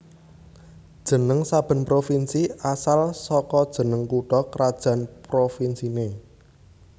Jeneng saben provinsi asal saka jeneng kutha krajan provinsiné